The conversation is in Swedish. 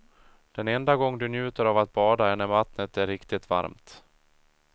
Den enda gången du njuter av att bada är när vattnet är riktigt varmt.